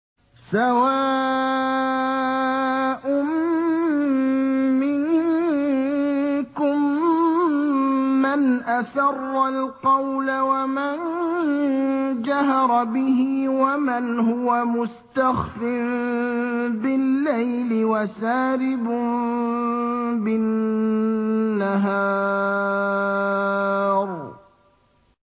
سَوَاءٌ مِّنكُم مَّنْ أَسَرَّ الْقَوْلَ وَمَن جَهَرَ بِهِ وَمَنْ هُوَ مُسْتَخْفٍ بِاللَّيْلِ وَسَارِبٌ بِالنَّهَارِ